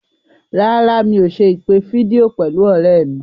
Rárá, mi ò ṣe ìpè fídíò pẹ̀lú ọ̀rẹ́ mi.